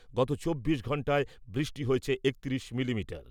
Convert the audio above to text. গত চব্বিশ ঘণ্টায় বৃষ্টি হয়েছে একত্রিশ মিলিমিটার।